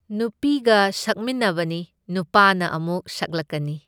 ꯅꯨꯄꯤꯒ ꯁꯛꯃꯤꯟꯅꯕꯅꯤ, ꯅꯨꯄꯥꯅ ꯑꯃꯨꯛ ꯁꯛꯂꯛꯀꯅꯤ꯫